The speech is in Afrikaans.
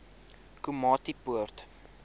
komatipoort